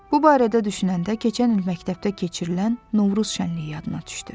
Bu barədə düşünəndə keçən il məktəbdə keçirilən Novruz şənliyi yadına düşdü.